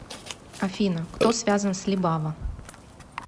афина кто связан с либава